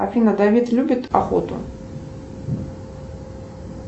афина давид любит охоту